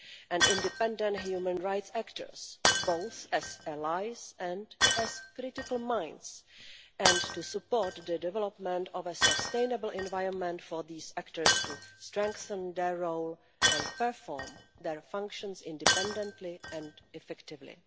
and independent human rights actors, both as allies and as critical minds, and support the development of a sustainable environment for these actors to strengthen their role and perform their functions independently and effectively.